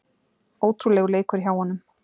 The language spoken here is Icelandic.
Ótrúlegur leikur hjá honum